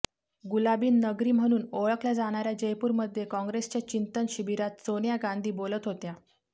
गुलाबी नगरी म्हणून ओळखल्या जाणाऱ्या जयपूरमध्ये काँग्रेसच्या चिंतन शिबिरात सोनिया गांधी बोलत होत्या